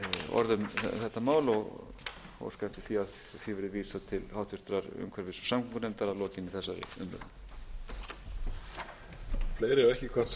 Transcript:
orð um þetta mál og óska eftir því að því verði vísað til háttvirtrar umhverfis og samgöngunefndar að lokinni þessari umræðu